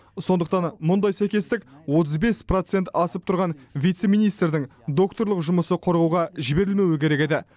сондықтан мұндай сәйкестік отыз бес процент асып тұрған вице министрдің докторлық жұмысы қорғауға жіберілмеуі керек еді